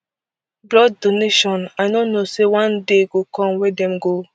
[blood donation] i no know say one day go come wey dem go